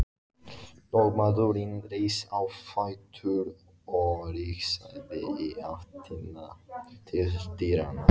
Lögmaðurinn reis á fætur og rigsaði í áttina til dyranna.